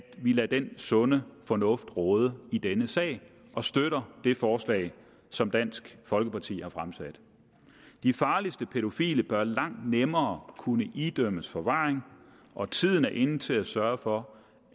vi lader den sunde fornuft råde i denne sag og støtter det forslag som dansk folkeparti har fremsat de farligste pædofile bør langt nemmere kunne idømmes forvaring og tiden er inde til at sørge for